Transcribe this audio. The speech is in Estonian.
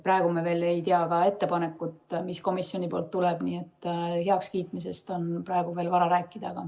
Praegu me ei tea, mis ettepanek komisjonilt tuleb, nii et heakskiitmisest on veel vara rääkida.